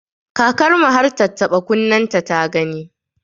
Kakar mu har tattaɓa kunnenta ta gani.